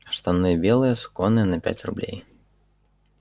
штаны белые суконные на пять рублей